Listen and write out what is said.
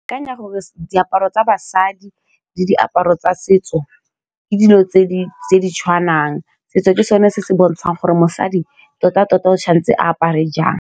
Ke akanya gore diaparo tsa basadi le diaparo tsa setso ke dilo tse di tshwanang setso ke sone se se bontshang gore mosadi tota-tota o tshwanetse a apare jang.